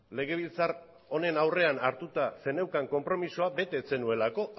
legebiltzar honen aurrean hartuta zeneukan konpromezua bete ez zenuelako